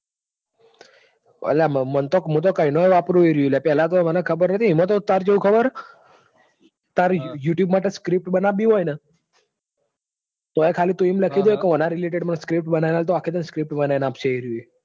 અલ્યામન તો હું તો કૈનો ય વાપરું છું એરયું અ પહેલાતો મન ખબર નથી. એમાં તો અત્યાર કેઉં ખબર છ. તાર youtube માટે script બનાવવી હોયન. તોય ખાલી તું એમ લખી દેન ઓના related માં script બનાવી તોય આખી તને script બનાવીને આપશે તને